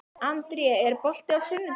André, er bolti á sunnudaginn?